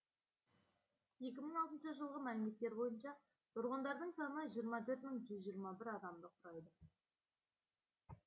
екі мың алтыншы жылғы мәліметтер бойынша тұрғындардың саны жиырма төрт мың жүз жиырма бір адамды құрайды